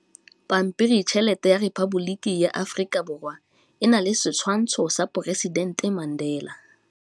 Pampiritšheletê ya Repaboliki ya Aforika Borwa e na le setshwantshô sa poresitentê Mandela.